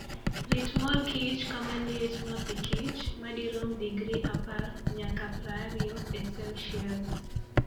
Rit mor kich kama liet ma pikich (madirom digri 10 nyaka 20 e Celsius).